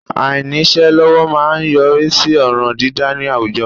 Àìníṣẹ́ lọ́wọ́ má a ń yọrí sí ọ̀ràn dídâ ní àwùjọ